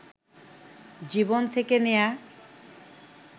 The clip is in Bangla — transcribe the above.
জীবন থেকে নেয়া